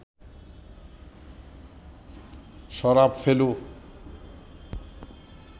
Sharaf, Felu